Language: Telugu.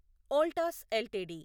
వోల్టాస్ ఎల్టీడీ